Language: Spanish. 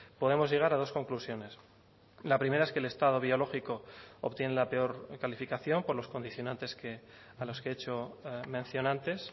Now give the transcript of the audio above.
podemos llegar a dos conclusiones la primera es que el estado biológico obtiene la peor calificación por los condicionantes que a los que he hecho mención antes